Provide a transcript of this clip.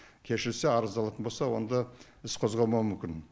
кешірсе арызды алатын болса онда іс қозғалмауы мүмкін